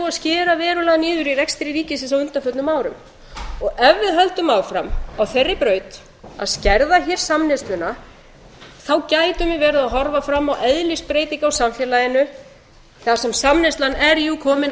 að skera verulega niður í rekstri ríkisins á undanförnum árum og ef við höldum áfram á þeirri braut að skerða hér samneysluna þá gætum við verið að horfa fram á eðlisbreytingu á samfélaginu þar sem samneyslan er jú komin